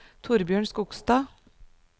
Torbjørn Skogstad